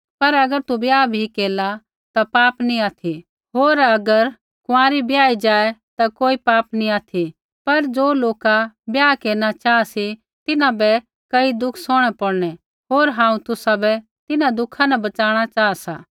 पर अगर तु ब्याह भी केरला ता पाप नी ऑथि होर अगर कुँआरी ब्याही जाऐ ता कोई पाप नी ऑथि पर ज़ो लोका ब्याह केरना चाहा सी तिन्हां बै कई दुःख सौहणै पौड़नै होर हांऊँ तुसाबै तिन्हां दुःखा न बच़ाणा चाहा सा